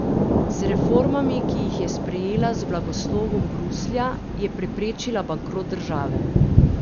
Z reformami, ki jih je sprejela z blagoslovom Bruslja je preprečila bankrot države.